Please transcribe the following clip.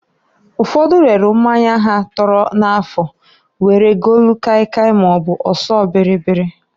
Ụfodu relu mmanya ha tọrọ n'afụ, were golu kai kai maọbụ ọsọ bịrịbịrị.